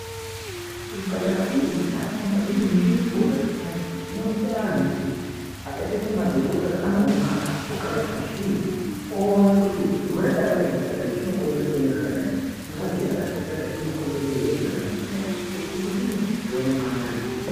Kuzvipatara kune nharaunda kune nzvimbo dzakasiyana siyana dzinoita anhu kuti akaite semadhokotera anoungana ogare pashi oone kuti chirwere chakadai chakadai chinokonzereswe nezvakadai, Ngazi yakadai yakadai inokonzerese zviro zvakadai zvakadai, uchingodini, achione maanarisisi.